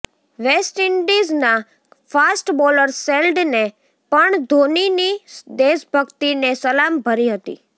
waste ઇન્ડિઝના fast bowler શેલ્ડને પણ ધોનીની દેશભક્તિને સલામ ભરી હતી